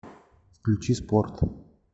включи спорт